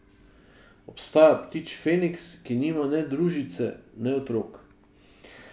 Obstaja ptič feniks, ki nima ne družice ne otrok.